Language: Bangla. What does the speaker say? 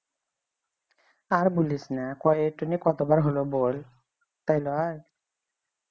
আর বলিস না কয়ে এইটা নিয়ে কতবার হল বল তাই লই